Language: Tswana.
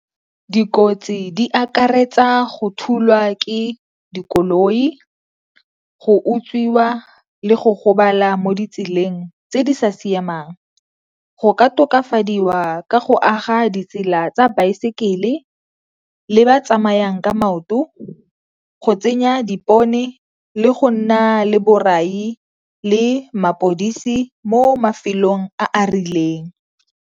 Dikotsi di akaretsa go thulwa ke dikoloi, go utswiwa le go gobala mo ditseleng tse di sa siamang. Go ka tokafadiwa ka go aga ditsela tsa baesekele le ba tsamayang ka maoto, go tsenya dipone le go nna le borai le mapodisi mo mafelong a a rileng.